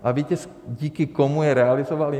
A víte, díky komu je realizovaly?